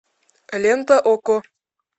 лента окко